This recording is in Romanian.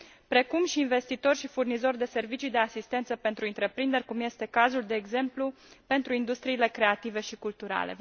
precum și investitori și furnizori de servicii de asistență pentru întreprinderi, cum este cazul, de exemplu, pentru industriile creative și culturale.